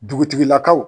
Dugutigilakaw